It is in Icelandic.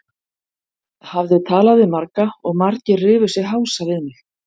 Hafði talað við marga og margir rifu sig hása við mig.